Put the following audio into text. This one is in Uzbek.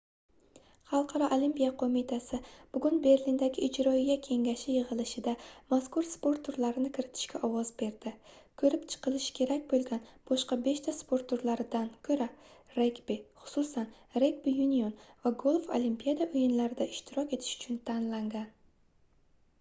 xalqaro olimpiya qoʻmitasi bugun berlindagi ijroiya kengashi yigʻilishida mazkur sport turlarini kiritishga ovoz berdi koʻrib chiqilishi kerak boʻlgan boshqa beshta sport turlaridan koʻra regbi xususan regbi yunion va golf olimpiada oʻyinlarida ishtirok etish uchun tanlangan